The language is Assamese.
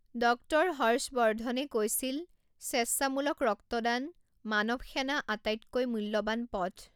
ডক্টৰ হৰ্ষ বৰ্ধনে কৈছিল স্বেচ্ছামূলক ৰক্তদান মানৱ সেনা আটাইতকৈ মূল্যবান পথ